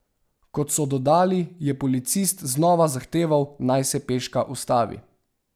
Kot so dodali, je policist znova zahteval, naj se peška ustavi.